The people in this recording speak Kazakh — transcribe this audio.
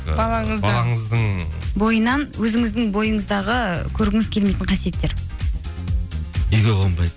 балаңыздың бойынан өзіңіздің бойыңыздағы көргіңіз келмейтін қасиеттер үйге қонбайды